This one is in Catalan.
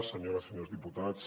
senyores i senyors diputats